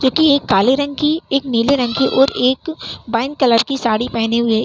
जो कि एक काले रंग की एक नीले रंग की और एक बाईन कलर की साड़ी पहने हुए --